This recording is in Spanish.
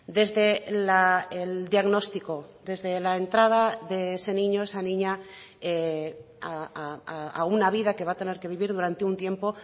desde el diagnóstico desde la entrada de ese niño esa niña a una vida que va a tener que vivir durante un tiempo